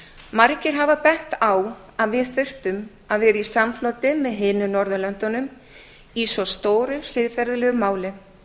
margir hafa bent á að við þyrftum að vera í samfloti með hinum norðurlöndunum í svo stóru siðferðilegu máli